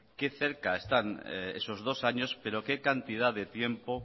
qué cerca están esos dos años pero qué cantidad de tiempo